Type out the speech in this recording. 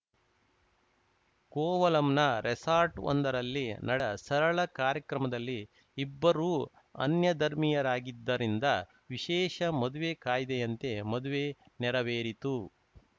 ಕೋವಲಂನ ರೆಸಾರ್ಟ್‌ವೊಂದರಲ್ಲಿ ನಡೆ ಸರಳ ಕಾರ್ಯಕ್ರಮದಲ್ಲಿ ಇಬ್ಬರೂ ಅನ್ಯಧರ್ಮೀಯರಾಗಿದ್ದರಿಂದ ವಿಶೇಷ ಮದುವೆ ಕಾಯ್ದೆಯಂತೆ ಮದುವೆ ನೆರವೇರಿತು